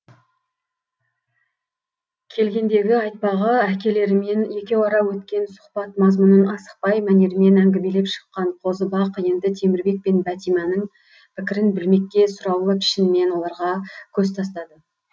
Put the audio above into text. келгендегі айтпағы әкелерімен екеуара өткен сұхбат мазмұнын асықпай мәнермен әңгімелеп шыққан қозыбақ енді темірбек пен бәтиманың пікірін білмекке сұраулы пішінмен оларға көз тастады